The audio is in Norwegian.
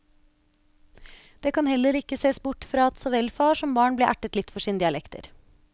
Det kan heller ikke sees bort fra at så vel far som barn ble ertet litt for sine dialekter.